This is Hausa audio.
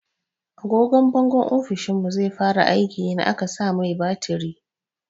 Agogwan bangon ofishinmu zai fara aiki in aka sa mai batiri.